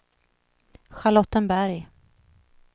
Charlottenberg